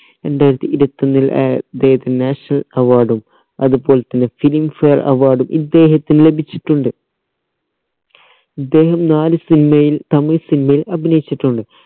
രണ്ടായിരത്തിഇരുവത്തൊന്നി ഏർ ഇദ്ദേഹത്തിന് national award ഉം അതുപോലെ തന്നെ filmfare award ഉം ഇദ്ദേഹത്തിന് ലഭിച്ചിട്ടുണ്ട് ഇദ്ദേഹം നാല് cinema യിൽ തമിഴ് cinema യിൽ അഭിനയിച്ചിട്ടുണ്ട്